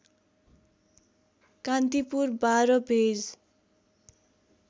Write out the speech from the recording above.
Kantipur १२ page